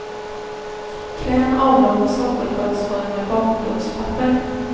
Klä en avlång sockerkaksform med bakplåtspapper.